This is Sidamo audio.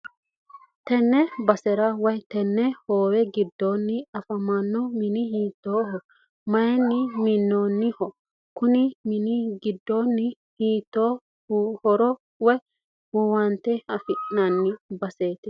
tenne basera woy tenne hoowe giddoonni afamanno mini hiittoho? mayiinni mi'noonniho? konni mini giddoonni hiitto horo woy owante afi'nanni baseeti?